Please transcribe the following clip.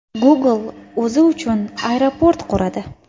Google o‘zi uchun aeroport quradi.